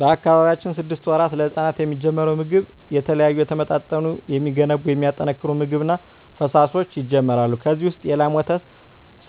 በአካባቢያችን ስድስት ወራት ለህጻናት የሚጀምረው ምግብ የተለያዩ የተመጣጠኑ የሚገነቡ የሚያጠናክሩ ምግብ እና ፈሣሾች ይጀመራሉ ከዚ ውሰጥ የላም ወተት